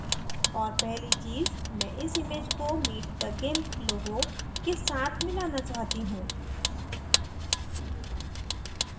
और पहली चीज़ मैं इस image को meet the gimp logo के साथ मिलाना चाहती हूँ